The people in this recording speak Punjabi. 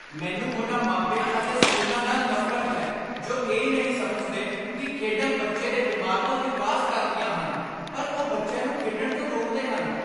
ਮੈਨੂੰ ਉਨ੍ਹਾਂ ਮਾਪਿਆਂ ਅਤੇ ਸਕੂਲਾਂ ਨਾਲ ਨਫ਼ਰਤ ਹੈ ਜੋ ਇਹ ਨਹੀਂ ਸਮਝਦੇ ਕਿ ਖੇਡਾਂ ਬੱਚੇ ਦੇ ਦਿਮਾਗ਼ ਦਾ ਵਿਕਾਸ ਕਰਦੀਆਂ ਹਨ ਪਰ ਉਹ ਬੱਚਿਆਂ ਨੂੰ ਖੇਡਣ ਤੋਂ ਰੋਕਦੇ ਹਨ।